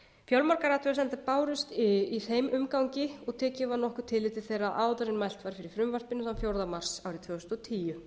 fjölmargar athugasemdir bárust í þeim umgangi og tekið var nokkurt tillit til þeirra áður en mælt var fyrir frumvarpinu þann fjórða mars árið tvö þúsund og tíu